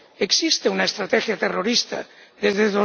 Existe una estrategia antiterrorista desde